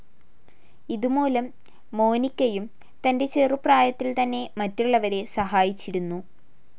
ഇതു മൂലം മോനിക്കയും തന്റെ ചെറുപ്രായത്തിൽ തന്നെ മറ്റുള്ളവരെ സഹായിച്ചിരുന്നു.